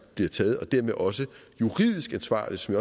bliver taget og dermed også juridisk ansvarlig som